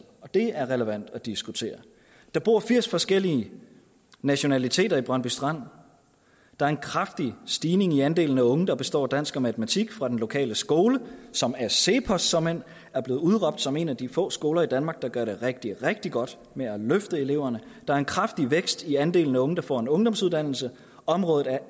og det er relevant at diskutere der bor firs forskellige nationaliteter i brøndby strand der er en kraftig stigning i andelen af unge der består dansk og matematik fra den lokale skole som af cepos såmænd er blev udråbt som en af de få skoler i danmark der gør det rigtig rigtig godt med at løfte eleverne der er en kraftig vækst i andelen af unge der får en ungdomsuddannelse området er